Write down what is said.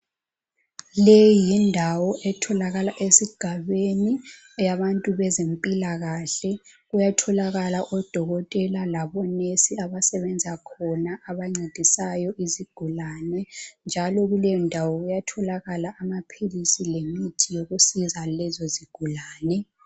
Le yindawo etholakala esigabeni eyabantu bezempilakahle kuyatholakala odokotela labonesi abasebenza khona abancedisayo izigulani njalo kuleyondawo kuyatholakala amaphilisi lemithi yokusiza lezi zigulane.